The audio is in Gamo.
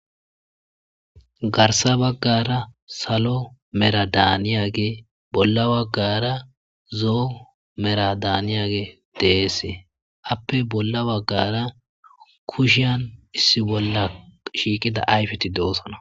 garsa baggara salo mera daaniyage bolla baggara zoo mera daaniyage deese appe bolla baggara kushian issi bolla shiiqida ayfeti doossana